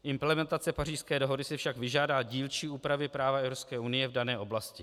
"Implementace Pařížské dohody si však vyžádá dílčí úpravy práva EU v dané oblasti.